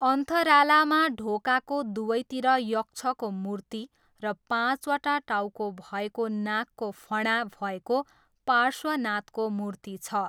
अन्थरालामा ढोकाको दुवैतिर यक्षको मूर्ति र पाँचवटा टाउको भएको नागको फणा भएको पार्श्वनाथको मूर्ति छ।